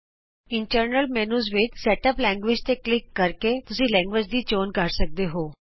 ਅੰਦਰਲੇ ਮੈਨਯੂ ਵਿਚ ਭਾਸ਼ਾ ਆਪਸ਼ਨਜ਼ ਵਿਚੋਂ ਭਾਸ਼ਾਂ ਦੀ ਸੈਟਿੰਗ ਤੇ ਕਲਿਕ ਕਰ ਕੇ ਤੁਸੀਂ ਭਾਸ਼ਾਂ ਦੀ ਚੋਣ ਕਰ ਸਕਦੇ ਹੋ